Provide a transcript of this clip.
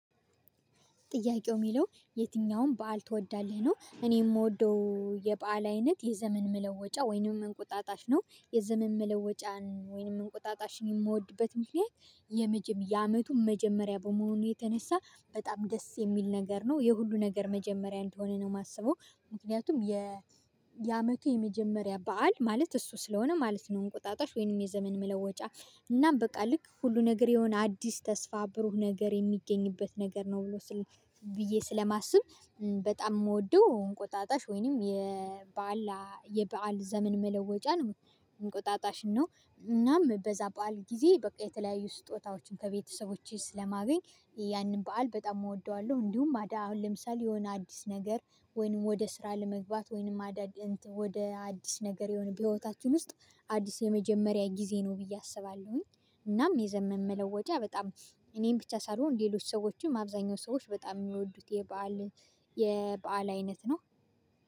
ጥያቄው ሚለው የትኛውም በዓል ትወዳለህ ነው? እኔ ምወደው የበአል አይነት የዘመን መለወጫ ወይንም እንቁጣጣሽ ነው የዘመን መለወጫን ወይንም እንቁጣጣሽን የምወድበት ምክንያት የመጀመ ያአመቱ መጀመሪያ በመሆኑ የተነሳ በጣም ደስ የሚል ነገር ነው የሁሉ ነገር መጀመሪያ እንደሆነ ነው ማስበው። ምክንያቱም የአመቱ የመጀመሪያ በዓል ማለት እሱ ስለሆነ ማለት ነው። እንቁጣጣሽ ወይንም የዘመን መለወጫ እናም በቃ ልክ ሁሉ ነገር የሆነ አዲስ ተስፋ ብሩህ ነገር የሚገኝበት ነገር ነው ብሎ ስል ብዬ ስለማስብ። በጣም የምወደው እንቆጣጣሽ ወይንም የበአል የበአል ዘመን መለወጫን እንቆጣጣሽ ነው። እናም በዛ በዓል ጊዜ በቃ የተለያዩ ስጦታዎችን ከቤተሰቦቼ ስለማገኝ ያንን በዓል በጣም እወደዋለሁ። እንዲሁም አሁን ለምሳሌ የሆነ አዲስ ነገር ወይንም ወደ ስራ ለመግባት ወይንም አዳግ ወደ አዲስ ነገር የሆነ በህይወታችን ውስጥ አዲስ የመጀመሪያ ጊዜ ነው ብዬ አስባለሁኝ። እናም የዘመን መለወጫ በጣም እኔን ብቻ ሳልሆን ሌሎች ሰዎችም አብዛኛው ሰዎች በጣም ሚወዱት የበአል የበአል አይነት ነው